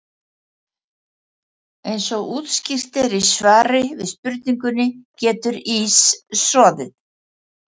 Eins og útskýrt er í svari við spurningunni Getur ís soðið?